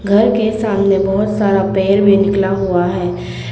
घर के सामने बहुत सारा पेड़ भी निकला हुआ है।